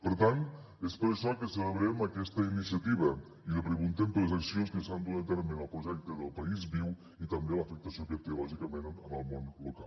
per tant és per això que celebrem aquesta iniciativa i li preguntem per les accions que s’estan duent a terme en el projecte del país viu i també l’afectació que té lògicament en el món local